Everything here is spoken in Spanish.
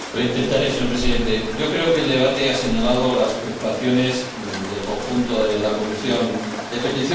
Señor Presidente, creo que el debate ha señalado las preocupaciones del conjunto de la Comisión de Peticiones.